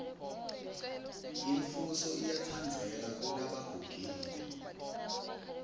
umfuso uyatsandzeka kelebagugile